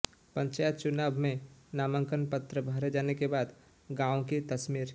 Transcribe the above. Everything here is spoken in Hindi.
पंचायत चुनाव में नामांकन पत्र भरे जाने के बाद गांवों की तस्वीर